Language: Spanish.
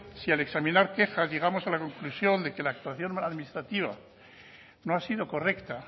si al examinar quejas llegamos a la conclusión de que la actuación administrativa no ha sido correcta